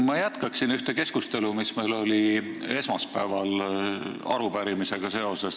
Ma jätkan ühte keskustelu, mis meil oli esmaspäeval arupärimisega seoses.